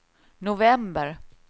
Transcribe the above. november